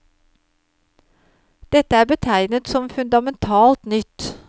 Dette er betegnet som fundamentalt nytt.